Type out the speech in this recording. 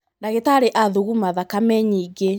ndagītarī athuguma thakame nyingī.